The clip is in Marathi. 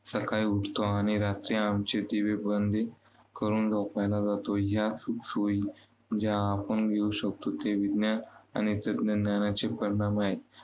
सकाळी उठतो आणि रात्री आमची दिवेबंदी करून झोपायला जातो. या सुखसोयी ज्या आपण मिळवू शकतो ते विज्ञान आणि तंत्रज्ञानाचे परिणाम आहे.